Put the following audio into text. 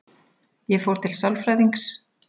Ég fór til sálfræðings.